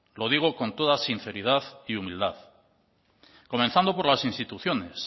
lo digo con toda sinceridad y humildad comenzando por las instituciones